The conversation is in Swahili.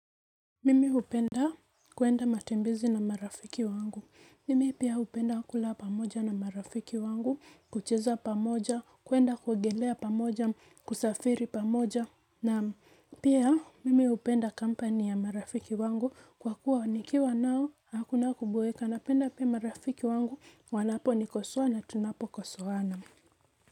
Mimi upenda kuenda matembezi na marafiki wangu. Mimi pia hupenda kula pamoja na marafiki wangu, kucheza pamoja, kuenda kuogelea pamoja, kusafiri pamoja, na pia mimi hupenda kampani ya marafiki wangu kwa kuwa nikiwa nao hakuna kuboeka napenda pia marafiki wangu wanaponikosoa na tunapokosoana.